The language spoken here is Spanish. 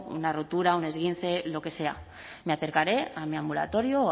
una rotura un esguince lo que sea me acercaré a mi ambulatorio o